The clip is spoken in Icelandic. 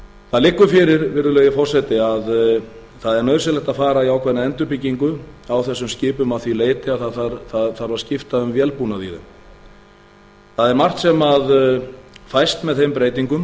það liggur fyrir virðulegi forseti að það er nauðsynlegt að fara í ákveðna endurbygging á þessum skipum að því leyti að það þarf að skipta um vélbúnað í þeim það er margt sem fæst með þeim breytingum